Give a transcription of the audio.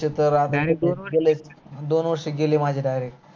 दोन वर्ष गेल्रे माझे direct